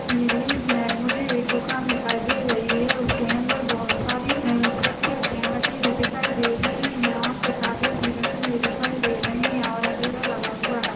इस इमेज मे मुझे एक दुकान दिखाई दे रही है। उसके अंदर बोहत सारी परीक्षा अध्ययन रखी हुई दिखाई दे रही हैं और किताबे भी रखी हुई दिखाई दे रही हैं और अंधेरा लगा हुआ है।